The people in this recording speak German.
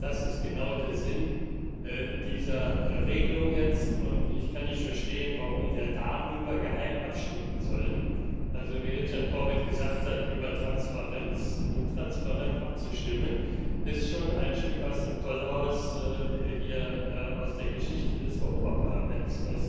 Das ist genau der Sinn dieser Regelung jetzt. Ich kann nicht verstehen, warum wir darüber geheim abstimmen sollen also wie Richard Corbett gesagt hat, über Transparenz intransparent abzustimmen, ist schon ein Stück aus dem Tollhaus hier aus der Geschichte des Europäischen Parlaments.